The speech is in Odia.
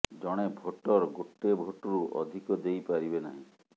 ଜଣେ ଭୋଟର ଗୋଟେ ଭୋଟ୍ରୁ ଅଧିକ ଦେଇ ପାରିବେ ନାହିଁ